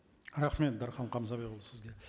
рахмет дархан қамзабекұлы сізге